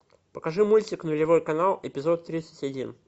покажи мультик нулевой канал эпизод тридцать один